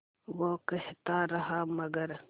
वो कहता रहा मगर